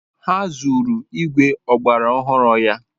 Ha zuru igwe ọgbara ọhụrụ ya.